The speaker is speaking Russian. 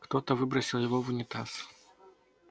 кто-то выбросил его в унитаз